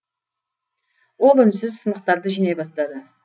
ол үнсіз сынықтарды жинай бастады